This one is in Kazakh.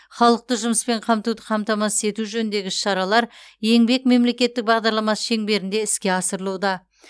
халықты жұмыспен қамтуды қамтамасыз ету жөніндегі іс шаралар еңбек мемлекеттік бағдарламасы шеңберінде іске асырылуда